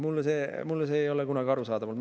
Mulle ei ole see kunagi arusaadav olnud.